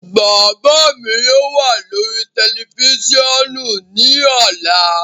Baba mi yóò wa lori tẹlifisiọnu ni ọla